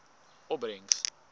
opbrengs